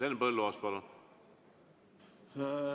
Henn Põlluaas, palun!